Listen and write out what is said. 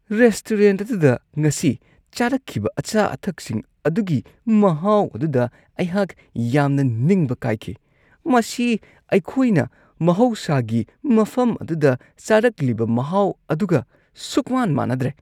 Restaurant ꯑꯗꯨꯗ ꯉꯁꯤ ꯆꯥꯔꯛꯈꯤꯕ ꯑꯆꯥ-ꯑꯊꯛꯁꯤꯡ ꯑꯗꯨꯒꯤ ꯃꯍꯥꯎ ꯑꯗꯨꯗ ꯑꯩꯍꯥꯛ ꯌꯥꯝꯅ ꯅꯤꯡꯕ ꯀꯥꯏꯈꯤ ꯫ ꯃꯁꯤ ꯑꯩꯈꯣꯏꯅ ꯃꯍꯧꯁꯥꯒꯤ ꯃꯐꯝ ꯑꯗꯨꯗ ꯆꯥꯔꯛꯂꯤꯕ ꯃꯍꯥꯎ ꯑꯗꯨꯒ ꯁꯨꯡꯃꯥꯟ-ꯃꯥꯟꯅꯗ꯭ꯔꯦ ꯫